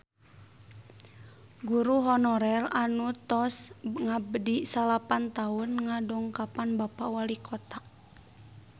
Guru honorer anu tos ngabdi salapan tahun ngadongkapan Bapak Walikota